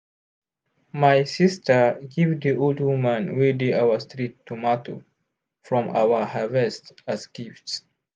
my sister give the old woman wey dey our street tomato from our harvest as gift.